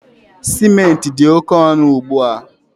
Ciment dị oke ọnụ ugbu a